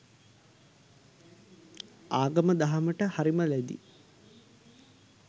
ආගම දහමට හරිම ලැදියි.